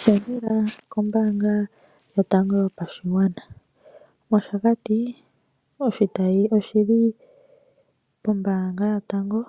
Pungula kombaanga yotango yopashigwana. Moshakati oshitayi oshili pombaanga yotango